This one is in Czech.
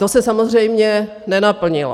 To se samozřejmě nenaplnilo.